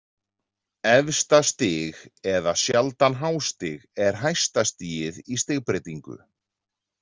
Efsta stig eða sjaldan hástig er hæsta stigið í stigbreytingu.